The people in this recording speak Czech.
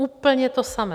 Úplně to samé.